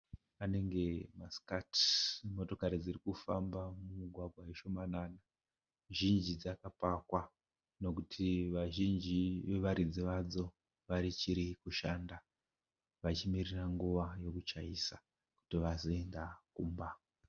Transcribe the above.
Anenge masikati , motokari dzikufamba mumugwagwa ishomanana, zhinji dzakapakwa kureva kuti vazhinji vevaridzi vadzo vachirikushanda vachimirira nguva yokuchaisa kuti vazoenda kumba.